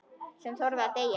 Sem þorði að deyja!